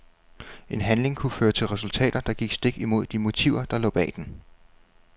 En handling kunne føre til resultater, der gik stik imod de motiver der lå bag den.